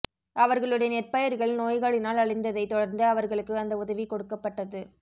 அவர்களுடைய நெற்பயிர்கள் நோய்களினால் அழிந்ததைத் தொடர்ந்து அவர்களுக்கு அந்த உதவி கொடுக்கப்பட்டது